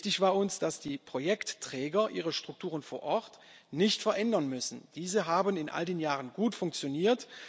Wichtig war uns, dass die Projektträger ihre Strukturen vor Ort nicht verändern müssen. Diese haben in all den Jahren gut funktioniert.